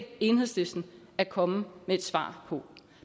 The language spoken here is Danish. enhedslisten at komme med et svar på